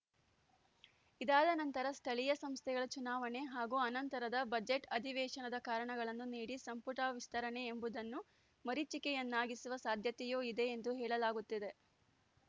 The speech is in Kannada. ಇದಾದ ನಂತರ ಸ್ಥಳೀಯ ಸಂಸ್ಥೆಗಳ ಚುನಾವಣೆ ಹಾಗೂ ಅನಂತರದ ಬಜೆಟ್‌ ಅಧಿವೇಶನದ ಕಾರಣಗಳನ್ನು ನೀಡಿ ಸಂಪುಟ ವಿಸ್ತರಣೆ ಎಂಬುದನ್ನು ಮರೀಚಿಕೆಯನ್ನಾಗಿಸುವ ಸಾಧ್ಯತೆಯೂ ಇದೆ ಎಂದು ಹೇಳಲಾಗುತ್ತಿದೆ